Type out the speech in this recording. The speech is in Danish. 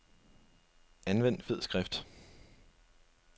Anvend fed skrift.